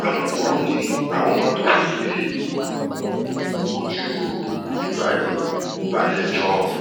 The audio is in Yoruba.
alukoro ni àwọn máa tóó fojú ibrahim balẹ̀-ẹjọ́